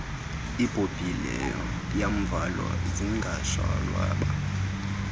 ibhobhile yomvalo zingashwabana